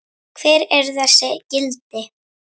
Hver eru þessi gildi?